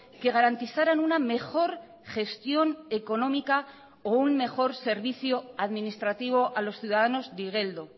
que garantizaran una mejor gestión económica o un mejor servicio administrativo a los ciudadanos de igeldo